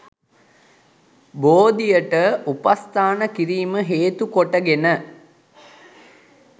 බෝධියට උපස්ථාන කිරීම හේතුකොට ගෙන